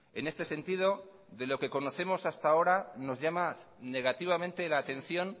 en este sentido de lo que conocemos hasta ahora nos llama negativamente la atención